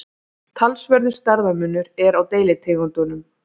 talsverður stærðarmunur er á deilitegundum